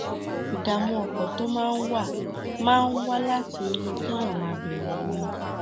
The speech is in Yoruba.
ìdààmú ọkàn tó máa ń wá máa ń wá láti inú kéèyàn máa bẹrù ni